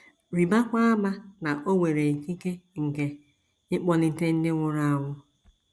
Rịbakwa ama na o nwere ikike nke ịkpọlite ndị nwụrụ anwụ.